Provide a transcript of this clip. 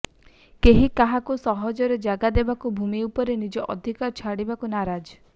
କେହି କାହାକୁ ସହଜରେ ଜାଗା ଦେବାକୁ ଭୂମି ଉପରେ ନିଜ ଅଧିକାର ଛାଡ଼ିବାକୁ ନାରାଜ